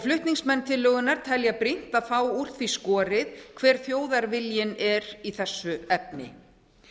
flutningsmenn tillögunnar telja brýnt að fá úr því skorið hver þjóðarviljinn er í þessu efni